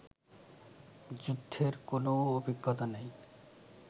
যুদ্ধের কোনও অভিজ্ঞতা নেই